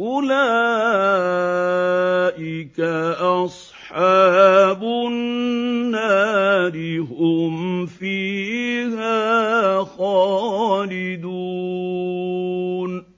أُولَٰئِكَ أَصْحَابُ النَّارِ ۖ هُمْ فِيهَا خَالِدُونَ